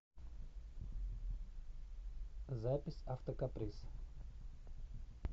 запись автокаприз